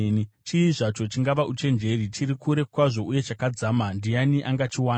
Chii zvacho chingava uchenjeri, chiri kure kwazvo uye chakadzama, ndiani angachiwana?